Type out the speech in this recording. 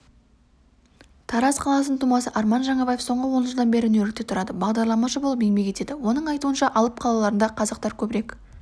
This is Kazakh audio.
тараз қаласының тумасы арман жаңабаев соңғы он жылдан бері нью-йоркте тұрады бағдарламашы болып еңбек етеді оның айтуынша алып қалаларында қазақтар көбірек